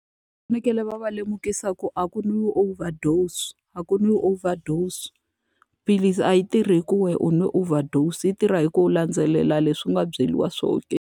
Va fanekele va va lemukisa ku a ku nwiwi overdosed, a ku nwiwi overdosed. Philisi a yi tirhi hi ku wena u nwe overdosed, yi tirha hi ku va u landzelela leswi u nga byeriwa swona ke.